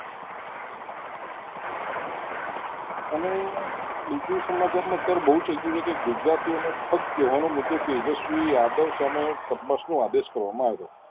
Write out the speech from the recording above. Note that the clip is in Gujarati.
અને બીજું સમાચારમાં એવું બહુ થઈ ગયું છે કે ગુજરાતી અને ઠક કહેવાનો મુદ્દો તેજસ્વી યાદવ સામે નો આદેશ કરવામાં આવ્યું